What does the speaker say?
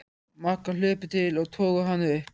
Magga hlupu til og toguðu hana upp.